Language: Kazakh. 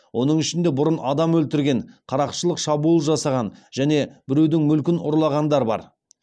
оның ішінде бұрын адам өлтірген қарақшылық шабуыл жасаған және біреудің мүлкін ұрлағандар бар